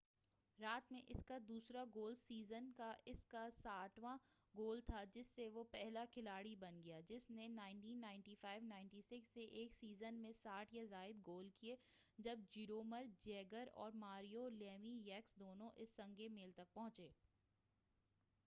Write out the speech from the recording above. رات میں اس کا دوسرا گول سیزن کا اس کا 60واں گول تھا جس سے وہ پہلا کھلاڑی بن گیا جس نے 1995-96 سے ایک سیزن میں 60 یا زائد گول کیے جب جیرومر جیگر اور ماریو لیمی یکس دونوں اس سنگِ میل تک پہنچے